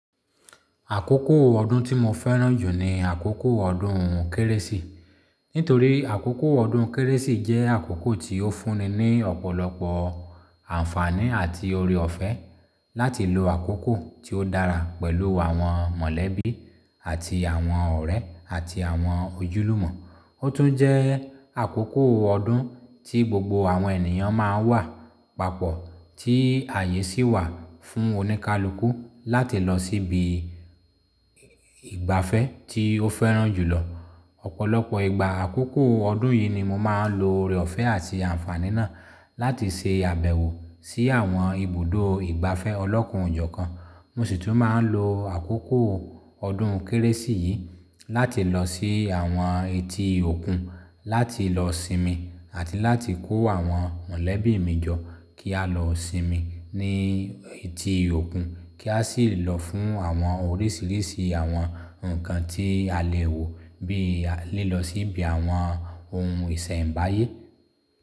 Àkókò ọdún tí mo fẹ́ràn jù ni àkókò ọdún kérésì. Nítorí àkókò ọdún kérésì jẹ́ àkókò tí ó fúnni ní ọ̀pọ̀lọpọ̀ àǹfàní àti oore ọ̀fẹ́ láti lo àkókò tí ó dára pẹ̀lú àwọn mọ̀lẹ́bí àti àwọn ọ̀rẹ́ àti àwọn ojúlùmọ̀. Ó tún jẹ́ àkókò ọdún tí gbogbo àwọn ènìyàn máa ń wà papọ̀, tí àyè sì wà fún oníkálukú láti lọ síbi ìgbafẹ́ tí ó fẹ́ràn jùlọ. Ọ̀pọ̀lọpọ̀ ìgbà àkókò ọdún yìí ni mo máa ń lo oore ọ̀fẹ́ àti àǹfàní náà láti ṣe àbẹ̀wò sí àwọn ibùdó ìgbafẹ́ ọlọ́kun ọ̀jọ̀ọ̀kan. Mo sì tún máa ń lo àkókò ọdún kérésì yìí láti lọ sí àwọn etí òkun láti lọ sinmi àti láti kó àwọn mọ̀lẹ́bí mi jọ kí a lọ sinmi ní etí òkun, kí a sì lọ fún àwọn oríṣìíríṣìí àwọn nǹkan tí a lè wò bí i lílọ sí ibi àwọn ohun ìṣẹ̀m̀báyé.